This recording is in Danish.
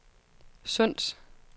Sunds